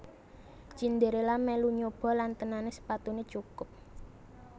Cinderella melu nyoba lan tenan sepatunè cukup